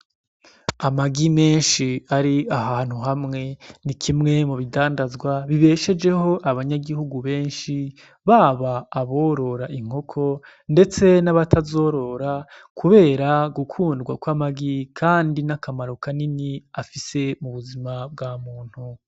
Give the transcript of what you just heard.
Amagi menshi ari ahantu hamwe , ni kimwe mu bidandazwa bibeshejeho abanyagihugu benshi , baba aborora inkoko ndetse n'abatazorora kubera gukundwa kw'amagi kandi n'akamaro Kanini afise mu buzima bwa muntu.